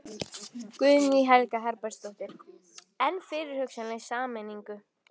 Guðný Helga Herbertsdóttir: En fyrir hugsanlega sameiningu?